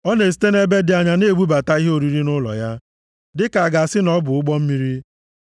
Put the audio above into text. Ọ na-esite nʼebe dị anya na-ebubata ihe oriri nʼụlọ ya dịka a ga-asị na ọ bụ ụgbọ mmiri.